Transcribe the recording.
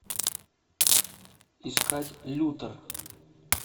искать лютер